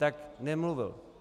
Tak nemluvil.